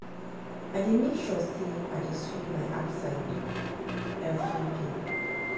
I dey mek sure say I dey sweep my outside evri day